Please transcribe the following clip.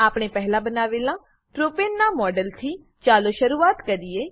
આપણે પહેલા બનાવેલા પ્રોપને પ્રોપેન નાં મોડેલથી ચાલો શરૂઆત કરીએ